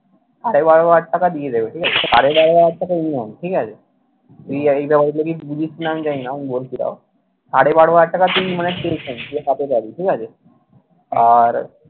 সাড়ে বারো হাজার টাকায় দিয়ে দেবে, ঠিক আছে? সাড়ে বারো হাজার টাকা minimum ঠিক আছে তুই এ এই ব্যাপারগুলো কি বুঝিস কিনা আমি জানি না, আমি বলছি তাও। সাড়ে বারো হাজার টাকা তুই মানে তুই সাথে যাবি, ঠিক আছে? আর